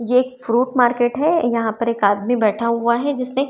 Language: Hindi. ये एक फ्रूट मार्केट है यहां पर एक आदमी बैठा हुआ है जिसने--